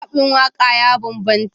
Zabin waƙa ya bambanta.